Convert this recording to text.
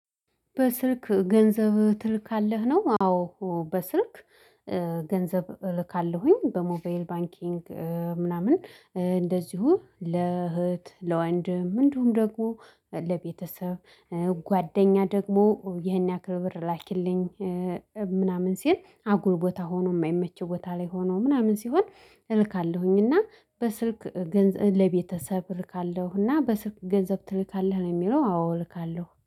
በስልክ ገንዘብ ትልካለህ ነው? አዎ በስልክ ገንዘብ እልካለሁኝ። በሞባይል ባንኪንግ ምናምን እንደዚሁ ለእህት ለወንድም እንዲሁም ደግሞ ለቤተሰብ ጓደኛ ደግሞ ይህን ያክል ብር ላኪልኝ ምናምን ሲል አጉል ቦታ ሆኖ የማይመች ቦታ ላይ ሆኖ ምናምን ሲሆን። እልካለሁኝ እና በስልክ ገንዘብ ለቤተሰብ እልካለሁና። በስልክ ገንዘብ ትልካለህ ነው የሚለው? አዎ እልካለሁ